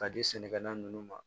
Ka di sɛnɛkɛla ninnu ma